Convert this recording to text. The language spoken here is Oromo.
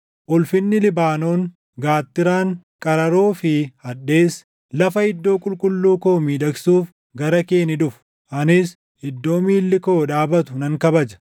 “Ulfinni Libaanoon, gaattiraan, qararoo fi hadheessi, lafa iddoo qulqulluu koo miidhagsuuf gara kee ni dhufu; anis iddoo miilli koo dhaabatu nan kabaja.